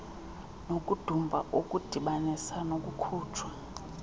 nokudumba okudibanisa nokukhutshwa